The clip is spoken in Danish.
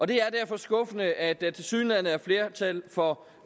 det er derfor skuffende at der tilsyneladende er flertal for